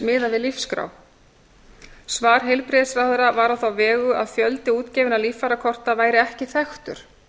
miðað við lífsskrá svar heilbrigðisráðherra var á þá vegu að fjöldi útgefinna líffæragjafakorta væri ekki þekktur